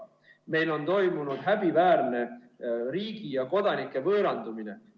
Meil on toimunud häbiväärne riigi ja kodanike võõrandumine.